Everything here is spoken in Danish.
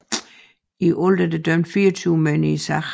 I alt er der dømt 24 mænd i sagen